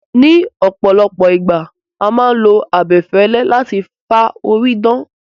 Ní ọ̀pọ̀lọpọ̀ ìgbà, a máà ń lo abẹfẹlẹ láti fi fá orí dan